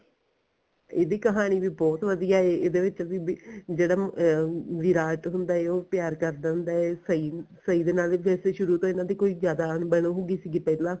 ਇਹਦੀ ਕਹਾਣੀ ਵੀ ਬਹੁਤ ਵਧੀਆ ਇਹਦੇ ਵਿੱਚ ਵੀ ਜਿਹੜਾ ਵਿਰਾਟ ਹੁੰਦਾ ਐ ਉਹ ਪਿਆਰ ਕਰਦਾ ਹੁੰਦਾ ਐ ਸਹੀ ਦੇ ਨਾਲ ਸ਼ੁਰੂ ਤੋਂ ਇਹਨਾ ਦੀ ਕੋਈ ਜਿਆਦਾ ਅਣਬਣ ਹੁੰਦੀ ਸੀਗੀ ਪਹਿਲਾਂ